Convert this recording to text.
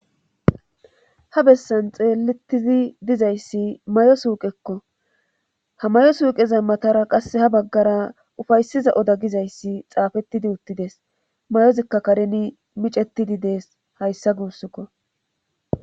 Ha bessan xeelettizi dizayssi may'o suuqekko ha mayo suuqeza matara qasse ha baggara ufaysiza oda gizayssi xaafettidi uttides mayozikka kareni micetidi dees hayssa guussukko.